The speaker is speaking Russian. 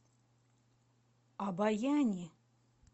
обояни